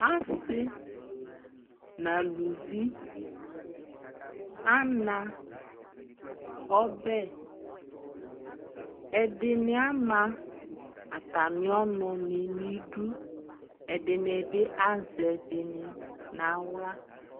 Asɩ nʋ alivi ana ɔbɛ Ɛdɩnɩ ama atamɩ ɔnʋnɩ nʋ idu Ɛdɩnɩ bɩ azɛ ɛdɩnɩ bɩ nʋ aɣla